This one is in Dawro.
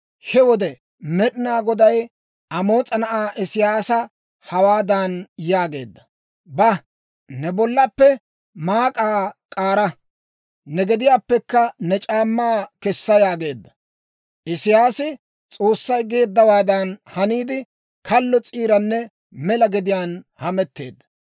he wode Med'inaa Goday Amoos'a na'aa Isiyaasa hawaadan yaageedda; «Ba; ne bollappe maak'aa k'aara; ne gediyaappekka ne c'aammaa kessa» yaageedda; Isiyaasi S'oossay geeddawaadan haniide, kallo s'iiranne mela gediyaan hametteedda.